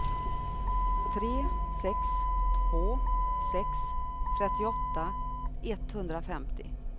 tre sex två sex trettioåtta etthundrafemtio